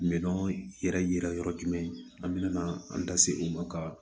Minɛn yɛrɛ yira yɔrɔ jumɛn an bɛna an da se u ma ka